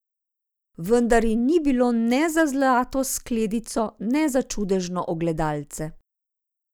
Vendar ji ni bilo ne za zlato skledico ne za čudežno ogledalce.